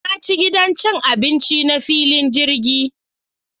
Na ci gidan cin abinci na filin jirgin.